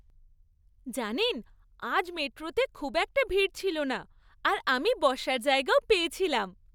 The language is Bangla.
জানেন আজ মেট্রোতে খুব একটা ভিড় ছিলনা আর আমি বসার জায়গাও পেয়েছিলাম।